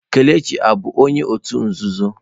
Kelechi ọ bụ onye òtù nzuzo?